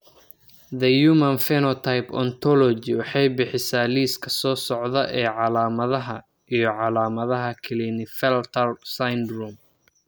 The Human Phenotype Ontology waxay bixisaa liiska soo socda ee calaamadaha iyo calaamadaha Klinefelter syndrome.